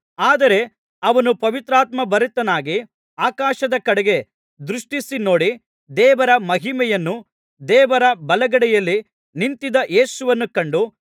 ಆದರೆ ಅವನು ಪವಿತ್ರಾತ್ಮಭರಿತನಾಗಿ ಆಕಾಶದ ಕಡೆಗೆ ದೃಷ್ಟಿಸಿ ನೋಡಿ ದೇವರ ಮಹಿಮೆಯನ್ನೂ ದೇವರ ಬಲಗಡೆಯಲ್ಲಿ ನಿಂತಿದ್ದ ಯೇಸುವನ್ನೂ ಕಂಡು